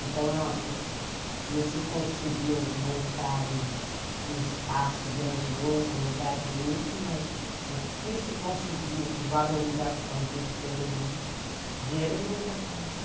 Então, não se conseguiu montar um espaço grandioso, um lugar bonito, mas o que se conseguiu de valorização do ser humano, dinheiro nenhum vai pagar.